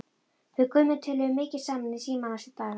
Við Gummi töluðum mikið saman í síma næstu daga.